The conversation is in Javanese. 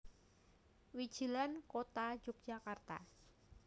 Wijilan Kota Yogyakarta